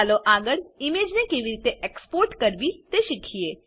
ચાલો આગળ ઈમેજને કેવી રીતે એક્સપોર્ટ કરવી તે શીખીએ